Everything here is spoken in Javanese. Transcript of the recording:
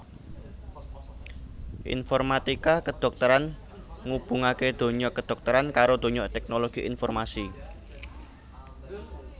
Informatika kedhokteran ngubungaké donya kedhokteran karo donya teknologi informasi